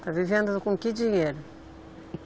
Está vivendo com que dinheiro?